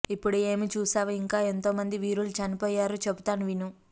ఇప్పుడే ఏమి చూసావు ఇంకా ఎంతో మంది వీరులు చనిపోయారు చెపుతాను విను